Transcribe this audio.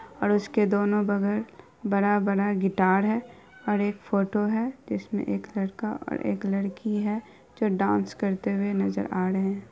और उसके दोनों बगल बड़ा बड़ा गिटार है और एक फोटो है जिसमें एक लड़का है और लड़की है जो डांस करते नजर आ रहे है।